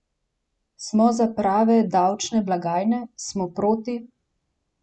Smo za prave davčne blagajne, smo proti?